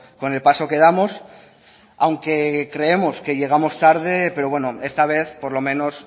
con el paso que damos aunque creemos que llegamos tarde pero bueno esta vez por lo menos